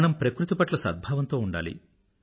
మనం ప్రకృతిపట్ల సద్భావంతో ఉండాలి